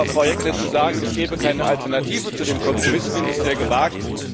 Aber, Frau Jeggle, zu sagen, es gebe keine Alternative zu dem Kompromiss, finde ich sehr gewagt.